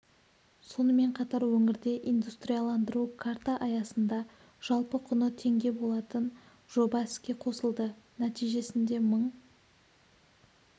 сонымен қатар өңірде индустриаландыру карта аясында жалпы құны теңге болатын жоба іске қосылды нәтижесінде мың